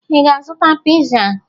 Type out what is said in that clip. Ị ga-azụta piza?